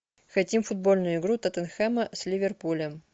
хотим футбольную игру тоттенхэма с ливерпулем